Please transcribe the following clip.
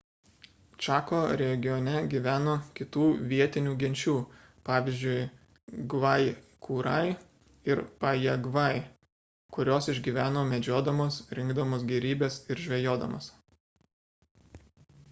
čako regione gyveno kitų vietinių genčių pvz. gvajkurai ir pajagvai kurios išgyveno medžiodamos rinkdamos gėrybes ir žvejodamos